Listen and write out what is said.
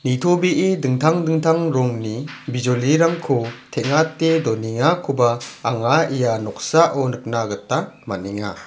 nitobee dingtang dingtang rongni bijolirangko teng·ate donengakoba anga ia noksao nikna gita man·enga.